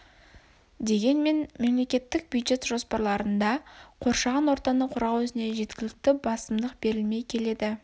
дегенмен мемлекеттік бюджет жоспарларында қоршаған ортаны қорғау ісіне жеткілікті басымдық берілмей келеді